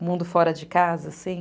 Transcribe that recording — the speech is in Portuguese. O mundo fora de casa, assim.